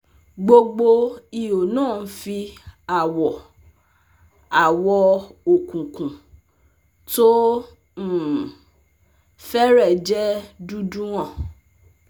gbogbo ihò náà ń fi awọ awọ òkùnkùn tó um fẹ́rẹ̀ẹ́ jẹ́ dúdú hàn